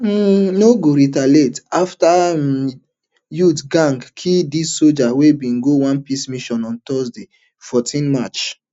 um no go retaliate afta um youth gang kill di sojas wey bin go on peace mission on thursday fourteen march